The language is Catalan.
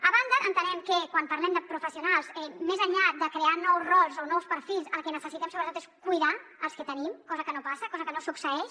a banda entenem que quan parlem de professionals més enllà de crear nous rols o nous perfils el que necessitem sobretot és cuidar els que tenim cosa que no passa cosa que no succeeix